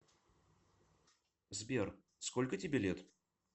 сбер сколько тебе лет